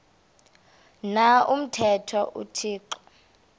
na umthetho uthixo